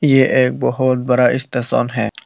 यह एक बहोत बड़ा स्टेशन है।